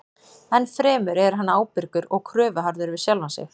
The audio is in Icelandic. Ennfremur er hann ábyrgur og kröfuharður við sjálfan sig.